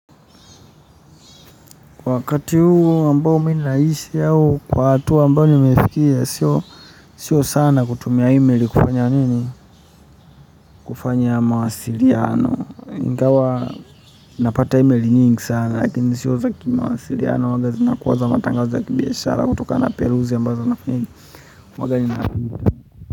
Kwa wakati huo ambao mimi naishi au, kwa hatua ambayo nimefikia, sio sana kutumia email kufanya nini, kufanya mawasiliano. Ingawa, napata emaili nyingi sana, lakini sio zaki mawasiliano, huwaga zinakuwa za matangazo ya biashara kutokana peruzi ambazo nafinya.